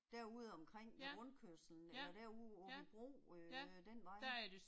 Derude omkring ved rundkørslen eller derude ved Aabybro øh den vej